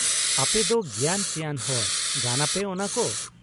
ᱟᱯᱮᱫᱚ ᱜᱮᱭᱟᱱ ᱥᱮᱭᱟᱱ ᱦᱚᱲ, ᱜᱟᱱᱟᱯᱮ ᱚᱱᱟ ᱠᱚ ᱾